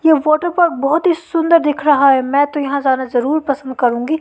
ये फोटोग्राफ बहोत ही सुंदर दिख रहा है में तो यहां जाना जरूर पसंद करूंगी।